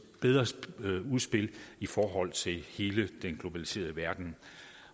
bedre udspil i forhold til hele den globaliserede verden